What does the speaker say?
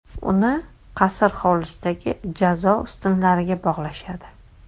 Uni qasr hovlisidagi jazo ustunlariga bog‘lashadi.